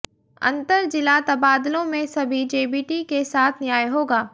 अंतर जिला तबादलों में सभी जेबीटी के साथ न्याय होगा